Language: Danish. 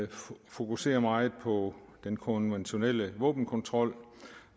fokuserer meget på den konventionelle våbenkontrol